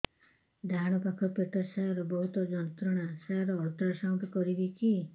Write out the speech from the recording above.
ଡାହାଣ ପାଖ ପେଟ ସାର ବହୁତ ଯନ୍ତ୍ରଣା ସାର ଅଲଟ୍ରାସାଉଣ୍ଡ କରିବି କି